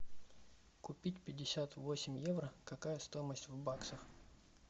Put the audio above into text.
купить пятьдесят восемь евро какая стоимость в баксах